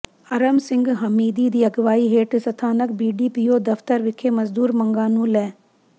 ਅਰਮ ਸਿੰਘ ਹਮੀਦੀ ਦੀ ਅਗਵਾਈ ਹੇਠ ਸਥਾਨਕ ਬੀਡੀਪੀਓ ਦਫ਼ਤਰ ਵਿਖੇ ਮਜ਼ਦੂਰ ਮੰਗਾਂ ਨੂੰ ਲੈ